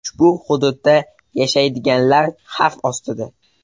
Ushbu hududda yashaydiganlar xavf ostida.